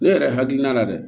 Ne yɛrɛ hakilina la dɛ